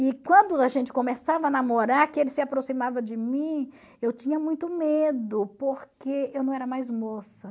E quando a gente começava a namorar, que ele se aproximava de mim, eu tinha muito medo, porque eu não era mais moça.